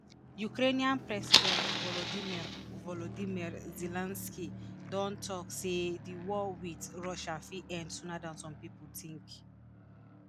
ukrainian president volodymyr volodymyr zelensky don tok say di war wit russia fit end sooner dan some pipo tink.